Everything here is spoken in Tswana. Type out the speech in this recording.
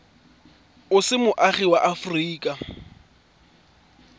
o se moagi wa aforika